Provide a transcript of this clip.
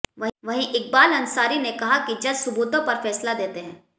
वहीं इकबाल अंसारी ने कहा कि जज सुबूतों पर फैसला देते हैं